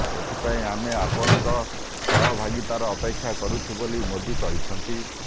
ଏଥିପାଇଁ ଆମେ ଆପଣଙ୍କର ସହଭାଗିତାର ଅପେକ୍ଷା କରୁଛୁ ବୋଲି ମୋଦୀ କହିଛନ୍ତି